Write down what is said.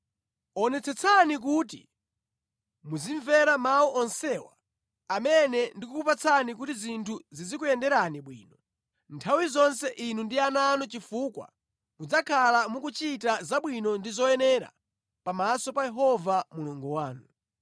Onetsetsani kuti muzimvera mawu onsewa amene ndikukupatsani kuti zinthu zizikuyenderani bwino nthawi zonse inu ndi ana anu chifukwa mudzakhala mukuchita zabwino ndi zoyenera pamaso pa Yehova Mulungu wanu.